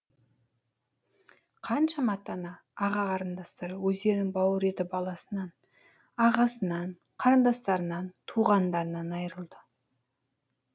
қаншама ата ана аға қарындастар өздерінің бауыр еті баласынан ағасынан қарындастарынан туғандарынан айырылды